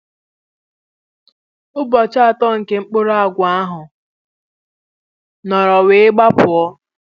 Ụbọchị atọ ka mkpụrụ agwa ahụ nọrọ wee gbapuo